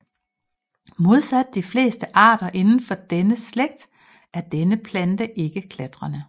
Modsat de fleste arter indenfor denne slægt er denne plante ikke klatrende